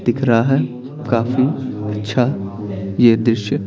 दिख रहा हैकाफी अच्छा यह दृश्य--